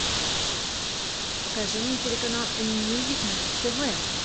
покажи мне телеканал м мьюзик на тв